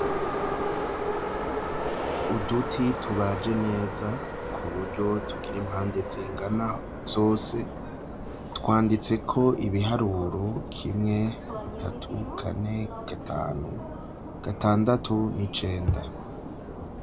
Uduti tubaje neza ku buryo tugira impande zingana zose twanditse ko ibiharuro kimwe bitatu kane gatanu gatandatu n'icenda.